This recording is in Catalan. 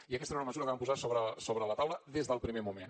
i aquesta era una mesura que van posar sobre la taula des del primer moment